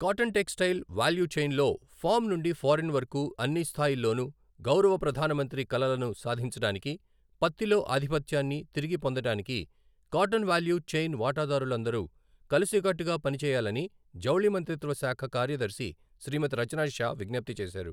Cotton textile value చైన్లో farm నుండి foreign వరకు అన్ని స్థాయిల్లోనూ గౌరవ ప్రధానమంత్రి కలలను సాధించడానికి, పత్తిలో ఆధిపత్యాన్ని తిరిగి పొందడానికి కాటన్ వాల్యూ చైన్ వాటాదారులందరూ కలిసికట్టుగా పని చేయాలని జౌళి మంత్రిత్వ శాఖ కార్యదర్శి శ్రీమతి రచనా షా విజ్ఞప్తి చేశారు.